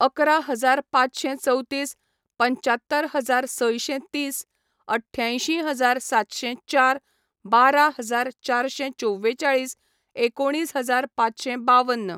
अकरा हजार पांचशें चवतीस, पंचात्तर हजार सयशें तीस, अठ्ठ्यांयशीं हजार सातशें चार, बारा हजार चारशें चोव्वेचाळीस, एकोणीस हजार पांचशें बाव्वन